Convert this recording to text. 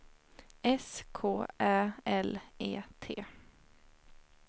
S K Ä L E T